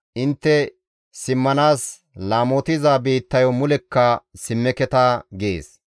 Intte simmanaas laamotiza biittayo mulekka simmeketa» gees.